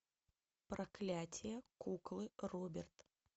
проклятие куклы роберт